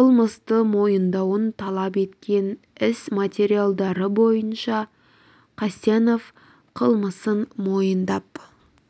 қылмысты мойындауын талап еткен іс материалдары бойынша қасенов қылмысын мойындап